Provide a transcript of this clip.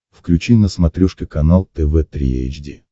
включи на смотрешке канал тв три эйч ди